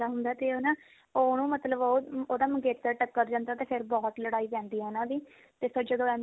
ਆਉਂਦਾ ਹੁੰਦਾ ਤੇ ਹਨਾ ਉਹਨੂੰ ਮਤਲਬ ਉਹ ਉਹਦਾ ਮੰਗੇਤਰ ਟੱਕਰ ਜਾਂਦਾ ਤੇ ਫਿਰ ਬਹੁਤ ਲੜਾਈ ਪੈਂਦੀ ਉਹਨਾ ਦੀ ਤੇ ਫਿਰ ਜਦੋਂ ਐਮੀ